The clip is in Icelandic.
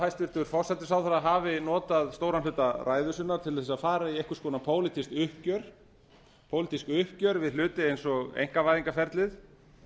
hæstvirtur forsætisráðherra hafi notað stóran hluta ræðu sinnar til að fara í einhvers konar pólitískt uppgjör við hluti eins og einkavæðingarferlið